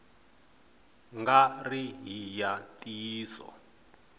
nga ri hi ya ntiyiso